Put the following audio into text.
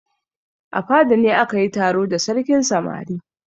A fada ne aka yi taro da sarkin samari.